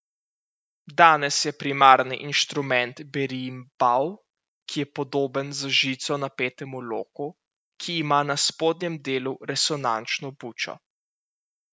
Danes je primarni inštrument berimbau, ki je podoben z žico napetemu loku, ki ima na spodnjem delu resonančno bučo.